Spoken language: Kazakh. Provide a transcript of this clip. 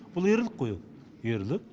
бұл ерлік қой ол ерлік